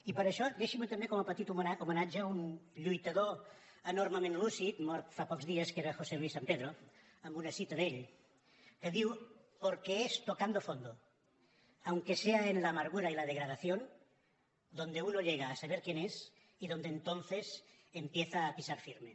i per això deixi m’ho també com a petit homenatge a un lluitador enormement lúcid mort fa pocs dies que era josé luis sampedro amb una cita d’ell que diu porque es tocando fondo aunque sea en la amargura y la degradación donde uno llega a saber quién es y donde entonces empieza a pisar firme